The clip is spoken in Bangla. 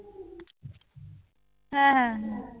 হ্যাঁ হ্যাঁ।